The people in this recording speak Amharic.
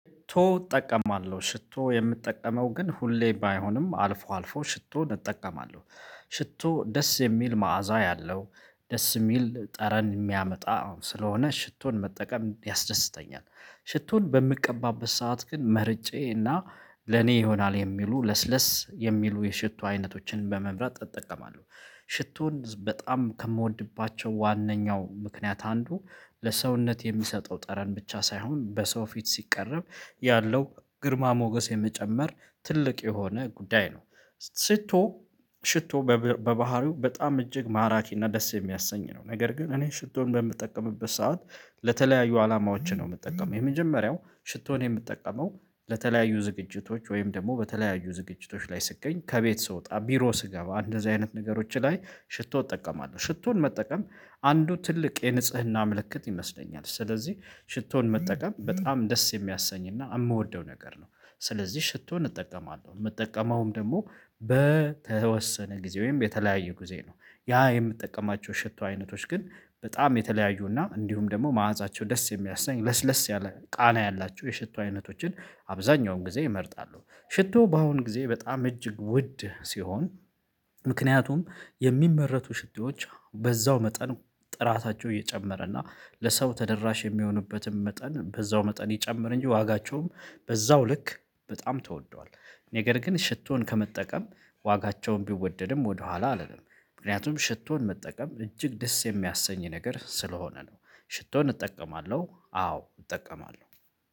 ሽቶ እጠቀማለሁ ሽቶ የምጠቀመው ግን ሁሌ ባይሆንም አልፎ አልፎ ሽቶን እጠቀማለሁ። ሽቶ ደስ የሚል መዓዛ ያለው ደስ የሚል ጠረን የሚያመጣ ስለሆነ ሽቶን መጠቀም ያስደስተኛል። ሽቶን በምቀባበት ሰዓት ግን መርጬና ለኔ ይሆናል የሚሉ ለስለስ የሚሉ የሽቶ አይነቶችን በመምረጥ እጠቀማለሁ። ሽቶን በጣም ከምወድባቸው ዋናው ምክንያት አንዱ ለሰውነት የሚሰጠው ጠረን ብቻ ሳይሆን በሰው ፊት ሲቀረብ ያለው ግርማ ሞገስ የሚጨመር ትልቅ የሆነ ጉዳይ ነው። ሽቶ ሽቶ በባህሪው በጣም እጅግ ማራኪ እና ደስ የሚያሰኝ ነው። ነገር ግን እኔ ሽቶን በምጠቀምበት ሰዓት ለተለያዩ አላማዎችን ነው የምትጠቀመው የመጀመሪያው ሽቶን የምትጠቀመው ለተለያዩ ዝግጅቶች ወይም ደግሞ በተለያዩ ዝግጅቶች ላይ ስትገኝ ከቤት ስወጣ ቢሮ ስገባ እንደዚህ አይነት ነገሮች ላይ ሽቶ እጠቀማለሁ። ሽቶን መጠቀም አንዱ ትልቅ የንጽህና ምልክት ይመስለኛል። ስለዚህ ሽቶን መጠቀም በጣም ደስ የሚያሰኝና የምወደው ነገር ነው። ስለዚህ ሽቶን እጠቀማለሁ የምጠቀመውም ደግሞ በተወሰነ ጊዜ ወይም በተለያየ ጊዜ ነው። ያ የምትጠቀማቸው ሽቶ አይነቶች ግን በጣም የተለያዩና እንዲሁም ደግሞ ማዕዛቸው ደስ የሚያስናኝ ለስለስ ያለ ቃና ያላችሁ የሽቶ አይነቶችን አብዛኛውን ጊዜ እመርጣሉ። ሽቶ በአሁን ጊዜ በጣም እጅግ ውድ ሲሆን ምክንያቱም የሚመረቱ ሽቴዎች በዛው መጠን ጥራታቸው እየጨመረ እና ለሰው ተደራሽ የሚሆኑበትን መጠን በዛው መጠን ይጨምር እንጂ ዋጋቸውም በዛው ልክ በጣም ተወዷል። ነገር ግን ሽቶን ከመጠቀም ዋጋቸውን ቢወደድም ወደኋላ አልልም። ምክንያቱም ሽቶን መጠቀም እጅግ ደስ የሚያሰኝ ነገር ስለሆነ ነው። ሽቶን እጠቀማለሁ አዎ እጠቀማለሁ።